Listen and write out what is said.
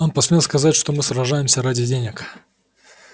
он посмел сказать что мы сражаемся ради денег